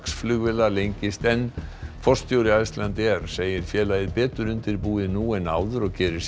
flugvéla lengist enn forstjóri Icelandair segir félagið betur undirbúið nú en áður og gerir sér